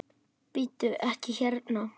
Bíddu. ekki hérna!